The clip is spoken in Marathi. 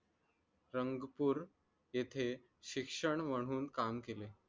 रंगपुर येथे शिक्षण म्हणून काम केले